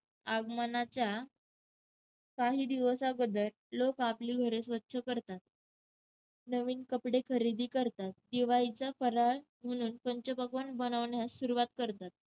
आगमनाच्या काही दिवस अगोदर लोक आपली घरे स्वच्छ करतात, नवीन कपडे खरेदी करतात, दिवाळीचा फराळ म्हणून पंचपक्वान्न बनवण्यास सुरुवात करतात.